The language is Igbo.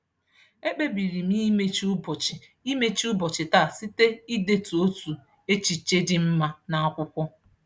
E kpebiri m imechi ụbọchị imechi ụbọchị taa site idetu otu echiche dị mma n'akwụkwọ.